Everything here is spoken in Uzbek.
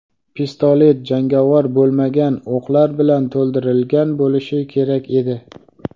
Pistolet jangovar bo‘lmagan o‘qlar bilan to‘ldirilgan bo‘lishi kerak edi.